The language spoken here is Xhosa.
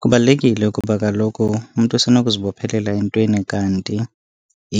Kubalulekile kuba kaloku umntu usenokuzibophelela entweni kanti